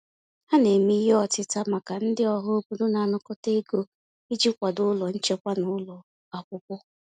Ha na-eme ihe ọtịta maka ndị ọhaobodo na-anakọta ego iji kwado ụlọ nchekwa na ụlọ akwụkwọ.